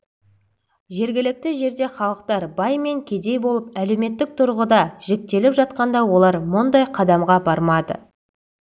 жергілікті жерде халықтар бай мен кедей болып әлеуметтік тұрғыда жіктеліп жатқанда олар мұндай қадамға бармады